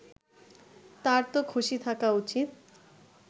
তারতো খুশি থাকা উচিত